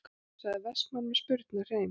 sagði Vestmann með spurnarhreim.